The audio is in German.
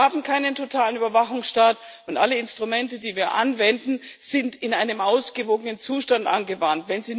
Wir haben keinen totalen Überwachungsstaat, und alle Instrumente, die wir anwenden, werden in einem ausgewogenen Zustand angewandt.